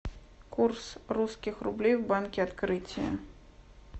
курс русских рублей в банке открытие